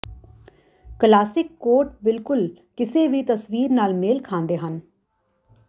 classic coat ਬਿਲਕੁਲ ਕਿਸੇ ਵੀ ਤਸਵੀਰ ਨਾਲ ਮੇਲ ਖਾਂਦੇ ਹਨ